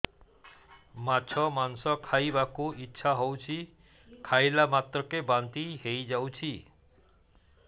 ମାଛ ମାଂସ ଖାଇ ବାକୁ ଇଚ୍ଛା ହଉଛି ଖାଇଲା ମାତ୍ରକେ ବାନ୍ତି ହେଇଯାଉଛି